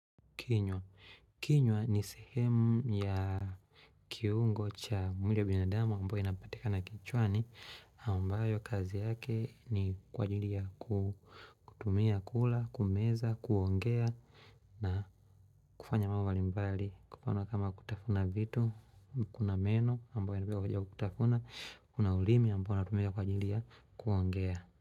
Kinywa kinywa ni sehemu ya kiungo cha mwili ya binadamu ambayo inapatika na kichwani. Ambayo kazi yake ni kwa ajili ya kutumia, kula, kumeza, kuongea na kufanya mambo limbali. Kufanya kama kutafuna vitu, kuna meno ambayo inapaya kutafuna, kuna ulimi ambayo natumia kwa ajili ya kuongea.